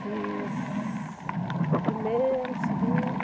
Fiz primeiro, segundo...